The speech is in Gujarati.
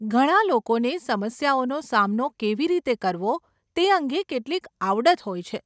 ઘણા લોકોને સમસ્યાઓનો સામનો કેવી રીતે કરવો તે અંગે કેટલીક આવડત હોય છે. .